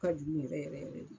U ka Jugu yɛrɛ yɛrɛ de.